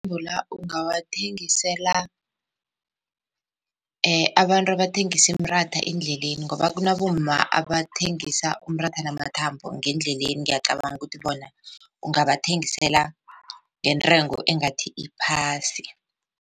Ungawathengisela abantu abathengisa imiratha endleleni ngoba kunabomma abathengisa umratha namathambo ngeendleleni ngiyacabanga ukuthi bona ungabathengisela ngentengo engathi iphasi.